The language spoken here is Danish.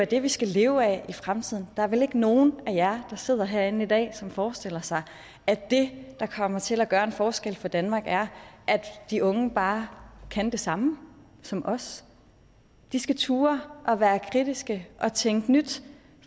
det vi skal leve af i fremtiden der er vel ikke nogen af jer der sidder herinde i dag som forestiller sig at det der kommer til at gøre en forskel for danmark er at de unge bare kan det samme som os de skal turde være kritiske og tænke nyt